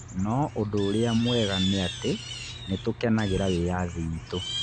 No ũndũ ũrĩa mwega nĩ atĩ nĩ tũkenagĩra wĩyathi witũ.